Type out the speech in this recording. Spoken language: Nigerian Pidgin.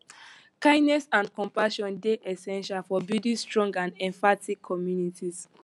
kindness and compassion dey essential for building strong and empathetic communities